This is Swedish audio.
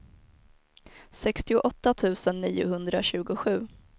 sextioåtta tusen niohundratjugosju